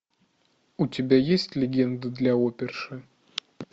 у тебя есть легенда для оперши